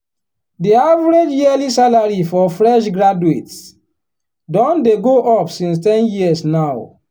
the average yearly salary for fresh graduates don dey go up since ten years now.